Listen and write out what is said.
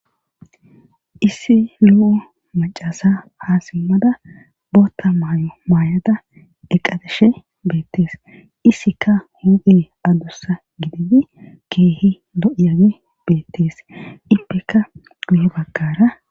Issi lo'o macasa haasimmada bootta maayo maayada eqateshe beettees issika hu7ee addussa gididi keehi no7iyage beettees ippeka guhe baggara.